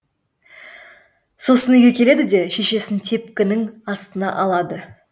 сосын үйге келеді де шешесін тепкінің астына алады